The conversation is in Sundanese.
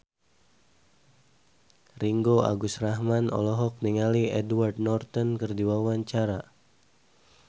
Ringgo Agus Rahman olohok ningali Edward Norton keur diwawancara